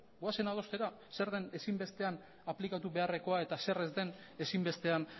goazen adostera zer den ezinbestean aplikatu beharrekoa eta zer ez den ezinbestean